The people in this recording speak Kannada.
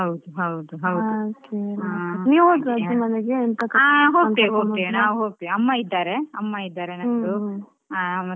ಹಾ ಹೋಗ್ತೇವೆ ಹೋಗ್ತೇವೆ ನಾವು ಅಮ್ಮ ಇದ್ದಾರೆ ಅಮ್ಮ ಇದ್ದಾರೆ ನಂದು.